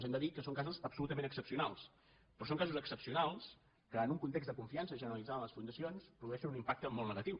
hem de dir que són casos absolutament excepcionals però són casos excepcionals que en un context de confiança genera·litzada en les fundacions produeixen un impacte molt negatiu